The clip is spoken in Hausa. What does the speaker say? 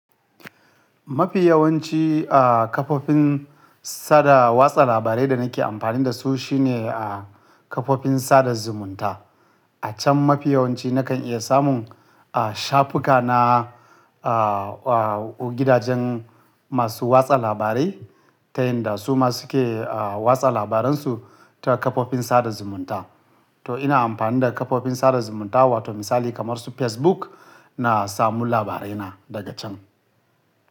Mafi yawanci a kafofin sada watsa labarai da nake amfani da su shine a kafofin sada zumunta. A can mafi yawanci nakan iya samun a shafuka na a, a gidajen masu watsa labarai ta yadda su ma suke a watsa labaran su ta kafofin sada zumunta. To ina amfani da kafofin sada zumunta wato misali kamar su Facebook na samu labarai na daga can.